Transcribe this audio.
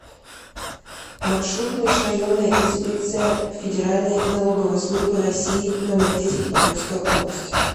маршрут межрайонная инспекция федеральной налоговой службы россии номер десять по тверской области